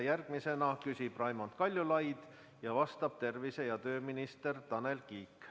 Järgmisena küsib Raimond Kaljulaid ja vastab tervise‑ ja tööminister Tanel Kiik.